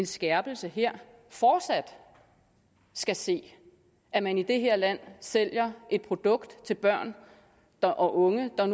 skærpelse fortsat skal se at man i det her land sælger et produkt til børn og unge der